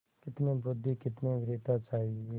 कितनी बुद्वि कितनी वीरता चाहिए